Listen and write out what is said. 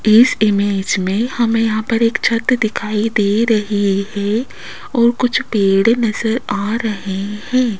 इस इमेज में हमें यहां पर एक छत दिखाई दे रही है और कुछ पेड़ नजर आ रहे हैं।